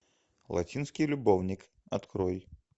латинский любовник открой